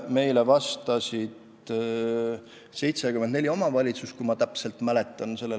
Meile vastas pärast auditi tegemist 74 omavalitsust, kui ma ikka õigesti mäletan.